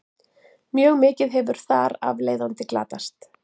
mjög mikið hefur þar af leiðandi glatast